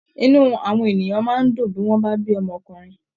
Inú àwọn ènìyàn máa ń dùn bí wọ́n bá bí ọmọkùnrin